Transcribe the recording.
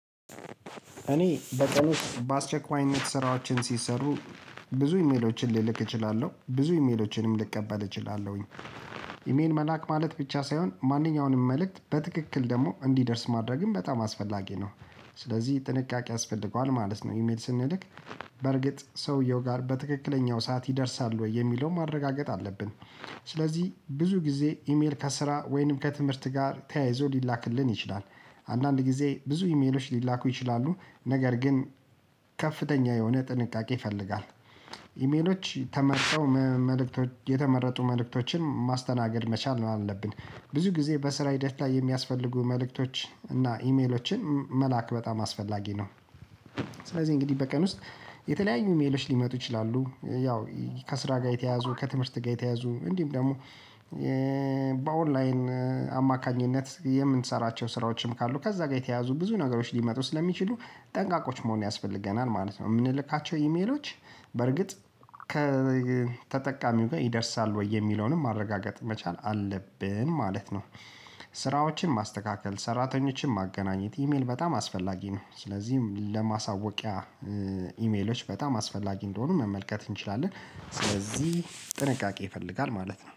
እኔ በቀን ውስጥ በአስቸኳይነት ስራዎችን ሲሰሩ ብዙ ኢሜሎችን ሊልክ እችላለሁ ብዙ ኢሜሎችንም ልቀበል እችላለሁኝ። ኢሜል መላክ ማለት ብቻ ሳይሆን ማንኛውንም መልእክት በትክክል ደግሞ እንዲደርስ ማድረግም በጣም አስፈላጊ ነው። ስለዚህ ጥንቃቄ ያስፈልገዋል ማለት ነው ኢሜል ስንልክ በርግጥ ሰውየው ጋር በትክክለኛው ሰዓት ይደርሳል ወይ የሚለው ማረጋገጥ አለብን ስለዚህ ብዙ ጊዜ ኢሜል ከስራ ወይንም ከትምህርት ጋር ተያይዞ ሊላክልን ይችላል አንዳንድ ጊዜ ብዙ ኢሜሎች ሊላኩ ይችላሉ ነገር ግን ከፍተኛ የሆነ ጥንቃቄ ይፈልጋል ኢሜሎች ተመርተው መልእክቶች የተመረጡ መልእክቶችን ማስተናገድ መቻል ነው አለብን። ብዙ ጊዜ በስራ ሂደት ላይ የሚያስፈልጉ መልእክቶች እና ኢሜሎችን መላክ በጣም አስፈላጊ ነው ስለዚህ እንግዲህ በቀን ውስጥ የተለያዩ ኢሜሎች ሊመጡ ይችላሉ። ያው ከስራ ጋር የተያዙ፤ ከትምህርት ጋር የተያዙ እንዲህም ደግሞ በኦንላይን አማካኝነት የምንሰራቸው ስራዎችም ካሉ ከዛ ጋር የተያዙ ብዙ ነገሮች ሊመጡ ስለሚችሉ ጠንቃቆች መሆን ያስፈልገናል ማለት ነው። የምንልካቸው ኢሜሎች በርግጥ ከተጠቃሚው ጋር ይደርሳል ወይ የሚለውንም ማረጋገጥ መቻል አለብን ማለት ነው ስራዎችን ማስተካከል ሰራተኞችን ማገናኘት ኢሜል በጣም አስፈላጊ ነው ስለዚህ ለማሳወቂያ ኢሜሎች በጣም አስፈላጊ እንደሆኑ መመልከት እንችላለን ስለዚህ ጥንቃቄ ይፈልጋል ማለት ነው